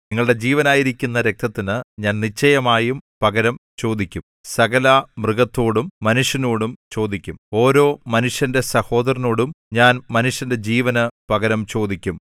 നിങ്ങളുടെ ജീവനായിരിക്കുന്ന രക്തത്തിന് ഞാൻ നിശ്ചയമായും പകരം ചോദിക്കും സകലമൃഗത്തോടും മനുഷ്യനോടും ചോദിക്കും ഓരോ മനുഷ്യന്റെ സഹോദരനോടും ഞാൻ മനുഷ്യന്റെ ജീവന് പകരം ചോദിക്കും